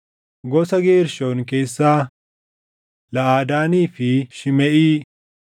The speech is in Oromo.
Gosa Geershoon keessaa: Laʼadaanii fi Shimeʼii.